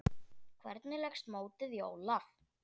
Hvernig leggst mótið í Ólaf?